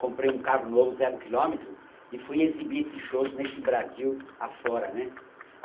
comprei um carro novo zero quilômetro e fui exibir esses shows nesse Brasil afora, né.